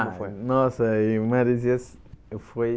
Ah, nossa, em Maresias eu fui...